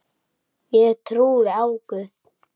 Ég trúi á Guð!